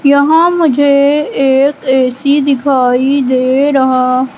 यहां मुझे एक ए_सी दिखाई दे रहा--